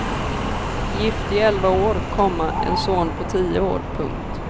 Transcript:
Gift i elva år, komma en son på tio år. punkt